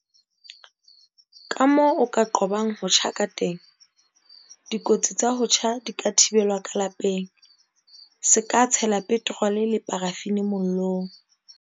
Kamoo o ka qobang ho tjha kateng Dikotsi tsa ho tjha di ka thibelwa ka lapeng. Se ka tshela petrole le parafini mollong.